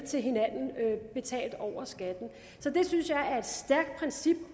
til hinanden betalt over skatten det synes jeg er et stærkt princip